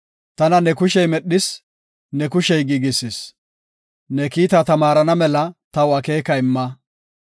Tana ne kushey medhis; ne kushey giigisis; ne kiita tamaarana mela taw akeeka imma.